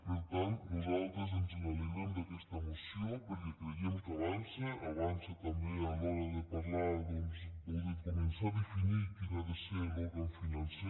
per tant nosaltres ens alegrem d’aquesta moció perquè creiem que avança avança també a l’hora de parlar o de començar a definir quin ha de ser l’òrgan financer